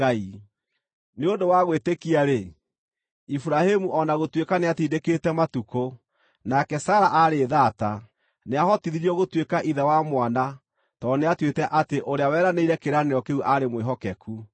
Nĩ ũndũ wa gwĩtĩkia-rĩ, Iburahĩmu, o na gũtuĩka nĩatindĩkĩte matukũ, nake Sara aarĩ thaata, nĩahotithirio gũtuĩka ithe wa mwana tondũ nĩatuĩte atĩ Ũrĩa weranĩire kĩĩranĩro kĩu aarĩ mwĩhokeku.